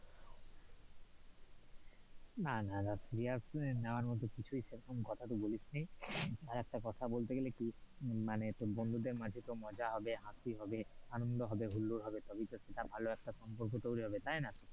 না, না, না, serious নেয়ার মতো কিছুই সেরকম কথা তুই বলিস নি, আর একটা কথা বলতে গেলে কি মানে তোর বন্ধুদের মাঝে তোর মজা হবে, হাসি হবে, আনন্দ হবে, হুল্লোর হবে, তবে তো সেটা ভালো একটা সম্পর্ক তৈরী হবে তাই না,